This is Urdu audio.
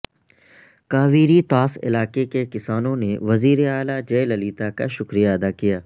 کاویری طاس علاقے کے کسانوں نے وزیر اعلی جئے للیتا کا شکریہ ادا کیا